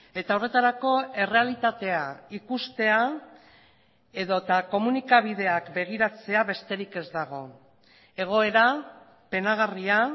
eta horretarako errealitatea ikustea edota komunikabideak begiratzea besterik ez dago egoera penagarria